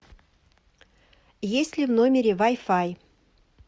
есть ли в номере вай фай